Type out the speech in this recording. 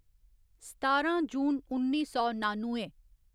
सतारां जून उन्नी सौ नानुए